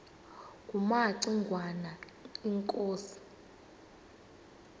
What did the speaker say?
kumaci ngwana inkosi